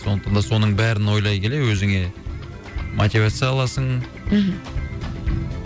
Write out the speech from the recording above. сондықтан да соның бәрін ойлай келе өзіңе мотивация аласың мхм